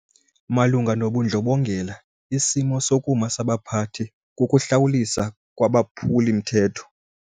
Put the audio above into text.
Malunga nobundlobongela isimo sokuma sabaphathi kukuhlawuliswa kwabaphuli-mthetho.